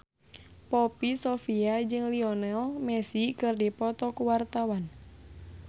Poppy Sovia jeung Lionel Messi keur dipoto ku wartawan